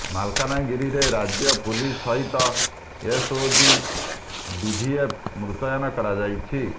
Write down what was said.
ମାଲକାନଗିରିରେ ରାଜ୍ୟ ପୁଲିସ ସହିତ ଏସ୍ଓଜି ଡିଭିଏଫ୍ ମୁତୟନ କରାଯାଇଛି